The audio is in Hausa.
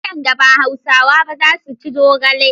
Wadanda ba Hausawa ba za su ci zogale.